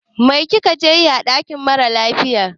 Mai ka je yi ã dakin mara lafiya?